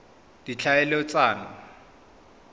ditlhaeletsano